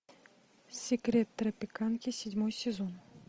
секрет тропиканки седьмой сезон